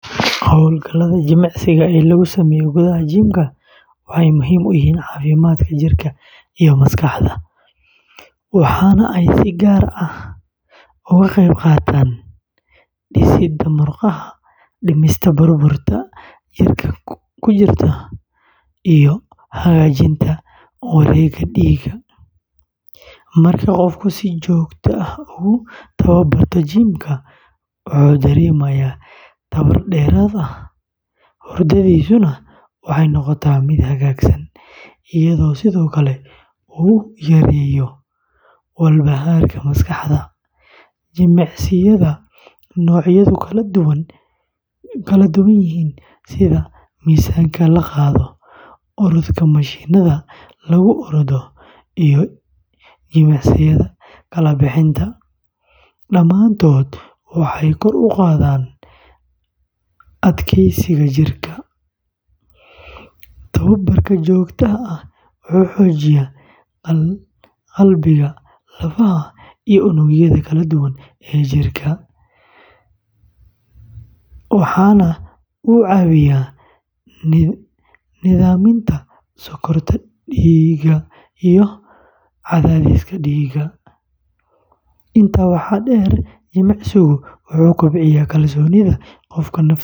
Hawlgallada jimicsiga ee lagu sameeyo gudaha jimka waxay muhiim u yihiin caafimaadka jirka iyo maskaxda, waxaana ay si gaar ah uga qayb qaataan dhisidda murqaha, dhimista baruurta jirka ku jirta, iyo hagaajinta wareegga dhiigga. Marka qofku si joogto ah ugu tababarto jimka, wuxuu dareemayaa tamar dheeraad ah, hurdadiisuna waxay noqotaa mid hagaagsan, iyadoo sidoo kale uu yareeyo walbahaarka maskaxda. Jimicsiyada noocyadoodu kala duwan yihiin sida miisaanka la qaado, orodka mashiinnada lagu ordo, iyo jimicsiyada kala bixinta, dhammaantood waxay kor u qaadaan adkeysiga jidhka. Tababarka joogtada ah wuxuu xoojiyaa qalbiga, lafaha, iyo unugyada kala duwan ee jirka, waxaana uu caawiyaa nidaaminta sokorta dhiigga iyo cadaadiska dhiigga. Intaa waxaa dheer, jimicsigu wuxuu kobciyaa kalsoonida qofka naftiisa.